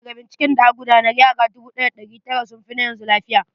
Daga binciken da aka gudanar, yaran 1900s sun fi na yanzu na lafiya.